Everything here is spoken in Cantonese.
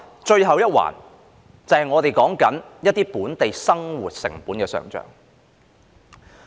最後一環，就是我們談論中一些本地生活成本的上漲。